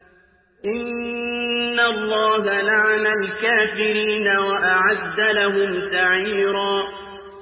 إِنَّ اللَّهَ لَعَنَ الْكَافِرِينَ وَأَعَدَّ لَهُمْ سَعِيرًا